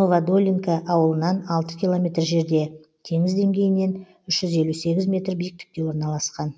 новодолинка ауылынан алты километр жерде теңіз деңгейінен үш жүз елу сегіз метр биіктікте орналасқан